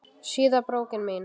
Síða brókin mín!